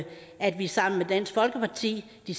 at vi sammen med dansk folkeparti ved